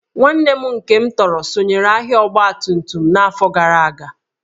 Nwanne m nke m tọrọ sonyeere ahịa ọgbatumtum n'afọ gara aga